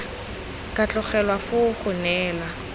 ka tlogelwa foo go neela